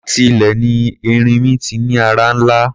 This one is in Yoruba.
Láti ilẹ̀ ni erinmi ti ní ara ńlá.